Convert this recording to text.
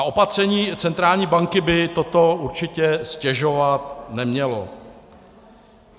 A opatření centrální banky by toto určitě ztěžovat nemělo.